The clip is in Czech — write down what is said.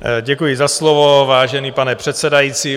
Děkuji za slovo, vážený pane předsedající.